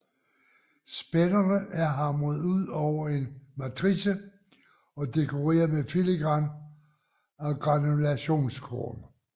Spænderne er hamret ud over en matrice og dekoreret med filigran og granulationskorn